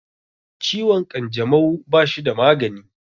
Ciwon ƙanjamau bashi da magani